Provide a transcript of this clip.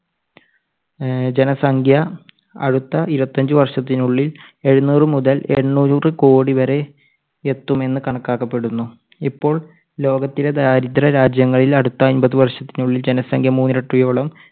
ഏർ ജനസംഖ്യ അടുത്ത ഇരുപത്തഞ്ചു വർഷത്തിനുള്ളിൽ എഴുനൂറു മുതൽ എണ്ണൂറു കോടി വരെ എത്തുമെന്ന് കണക്കാക്കപ്പെടുന്നു. ഇപ്പോ ലോകത്തിലെ ദരിദ്ര രാജ്യങ്ങളിൽ അടുത്ത അമ്പത് വർഷത്തിനുള്ളിൽ ജനസംഖ്യ മൂന്നിരട്ടിയോളം